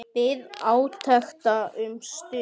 Bíð átekta um stund.